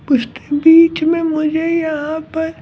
उसने बीच में मुझे यहाँ पर--